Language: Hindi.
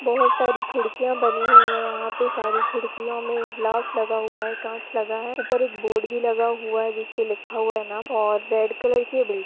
बहुत सारी खिड़किया बनी हुई हैयहा पे सारी खिड़कियाँ में गलास लगा हुआ है कांच लगा है ऊपर एक बोर्ड भी लगा हुआ है है जिसपे लिखा हुआ है नाम और रेड क्क्लर की ये बिल्डिंग --